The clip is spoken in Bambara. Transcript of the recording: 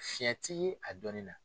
Fiɲɛ ti ye a dɔɔni na.